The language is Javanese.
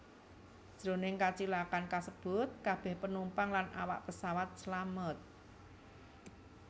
Jroning kacilakan kasebut kabèh penumpang lan awak pesawat slamet